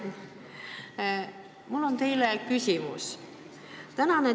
Hea ettekandja, mul on teile küsimus.